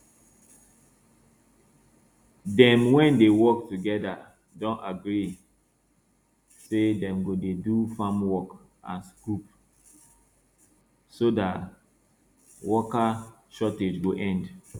dem wey dey work together don agree say dem go dey do farm work as group so dat worker shortage go end